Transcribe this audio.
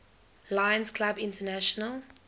lions clubs international